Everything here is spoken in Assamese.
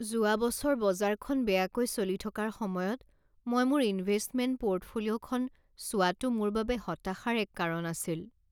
যোৱা বছৰ বজাৰখন বেয়াকৈ চলি থকাৰ সময়ত মই মোৰ ইনভেষ্টমেণ্ট পৰ্টফলিঅ'খন চোৱাটো মোৰ বাবে হতাশাৰ এক কাৰণ আছিল।